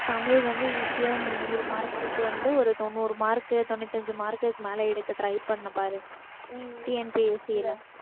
தமிழ் வந்து easy ஆ நீ நூறு mark க்கு வந்து ஒரு தொண்ணூறு mark க்கு தொண்ணூத்தி அஞ்சு mark க்கு மேல எடுக்க try பண்ணபாரு